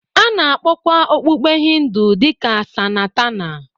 A na-akpọkwa okpukpe Hindu dị ka Sanatana